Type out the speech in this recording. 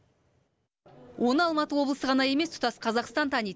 оны алматы облысы ғана емес тұтас қазақстан таниды